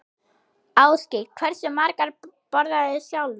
Ásgeir: Hversu margar borðarðu sjálfur?